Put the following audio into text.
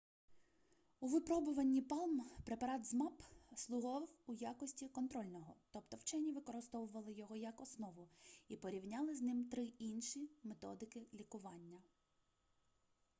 у випробуванні палм препарат zmapp слугував у якості контрольного тобто вчені використовували його як основу і порівняли з ним три інші методики лікування